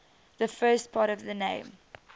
the first part of the name